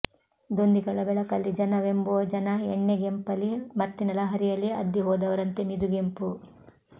ದೊಂದಿಗಳ ಬೆಳಕಲ್ಲಿ ಜನವೆಂಬೋ ಜನ ಎಣ್ಣೆಗೆಂಪಲಿ ಮತ್ತಿನ ಲಹರಿಯಲಿ ಅದ್ದಿಹೋದವರಂತೆ ಮಿದುಗೆಂಪು